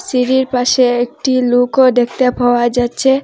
টিভির পাশে একটি লুকও দেখতে পাওয়া যাচ্ছে।